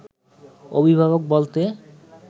অভিভাবক বলতে